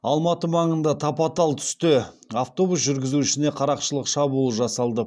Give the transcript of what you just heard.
алматы маңында тапатал түсте автобус жүргізушісіне қарақшылық шабуыл жасалды